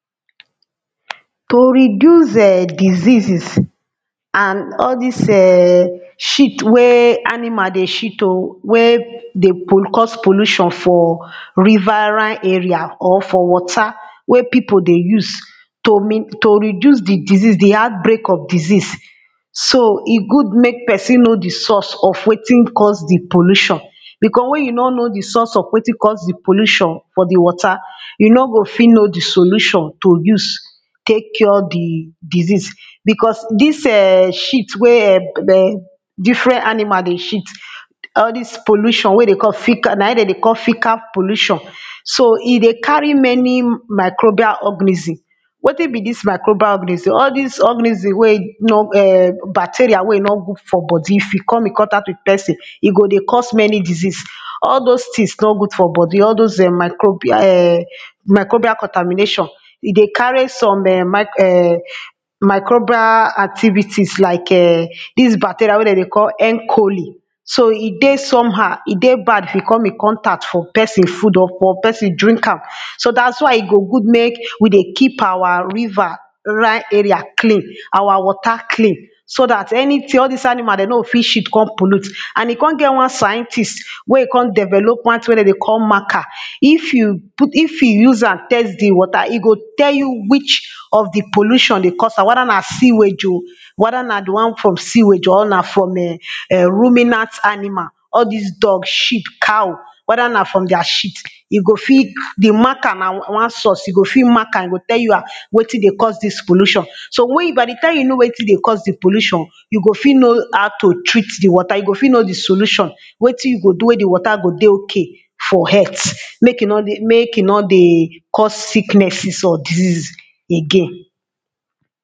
To reduce [urn] and all dis diseases, and all dis um shit wen animal dey shit o wen dey cause pollution, for riverine area or for water, wen people dey use to min to reduce di disease di outbreak of disease, so e good make person know di source of wetin cause di pollution, because wen you nor know di source of wetin cause di pollution for di water, you nor go fit know di solution to use tek cure di disease, because dis um shit wen um difrent animal dey shit all dis pollution wen dey call na im dem dey call ficar pollution. so e dey carry many microbial organism, wetin be dis microbial organism, all dis organism wey e nor um bacterial wen no good for body if e come in contact with person e go dey cause many disease, all those things nor good for body all those um microbial um microbial contamination e dey carry some um um microbial activities like um dis bacteria wen dem dey call encholi. so e dey some how e dey bad if e come in contact for person food or person drink am, so dat is why e dey good make we dey keep our river rine area dem clean, our water clean, so dat anything all dis animal dem no go fit shit come pollut, and e come get one scientist wen e come develop one thing wen dem dey call marker, if you put if you use am test di water e go tell you which of di pollution dey cause am whether na siwage oh whether na di one from siwage or na from um ruminant animal, all dis dog shit, cow, whether na from their shit e go fit di marker na one source e go fit mark am e go tell you um wetin dey cause dis pollution, so we by di time you know wetin dey cause di pollution, you go fit know how to treat di water you go fit know di solution, wetin you go do wen di water go dey okay for health, make e nor dey make e nor dey cause sicknesses or diseases again.